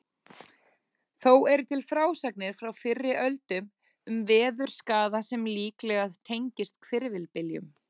Þó eru til frásagnir frá fyrri öldum um veðurskaða sem líklega tengist hvirfilbyljum.